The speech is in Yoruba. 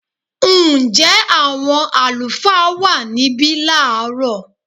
Ǹjẹ́ àwọn àlùfáà wà níbí láàrọ̀?